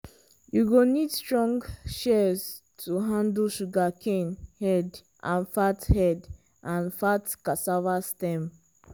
after you don use am park di shears for where breeze dey blow and e dry.